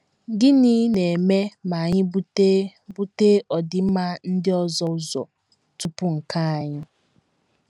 Gịnị na - eme ma anyị bute bute ọdịmma ndị ọzọ ụzọ tupu nke anyị?